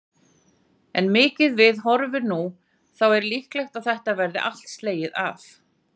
En miðað við horfur nú, þá er líklegt að þetta verði allt slegið af?